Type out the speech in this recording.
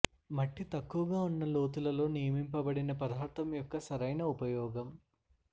మట్టి తక్కువగా ఉన్న లోతులలో నియమింపబడిన పదార్థం యొక్క సరైన ఉపయోగం